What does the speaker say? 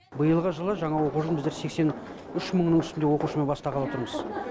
биылғы жылы жаңа оқу жылын біздер сексен үш мыңның үстінде оқушымен бастағалы отырмыз